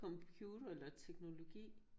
Computer eller teknologi